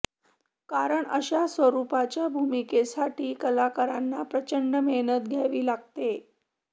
कारण अशा स्वरूपाच्या भूमिकेसाठी कलाकारांना प्रचंड मेहनत घ्यावी लागते